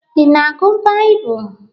Ị na-agụ Baịbụl?